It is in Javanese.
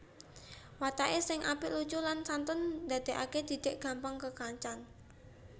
Watake sing apik lucu lan santun ndadekake Didik gampang kekancan